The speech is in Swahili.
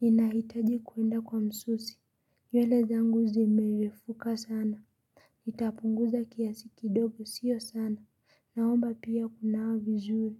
Ninahitaji kuenda kwa msusi nywele zangu zimerefuka sana. Itapunguza kiasi kidogo sio sana. Naomba pia kunawa vizuri.